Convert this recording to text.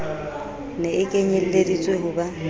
ne e kenyelleditswe ho ba